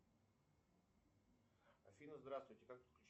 афина здравствуйте как подключить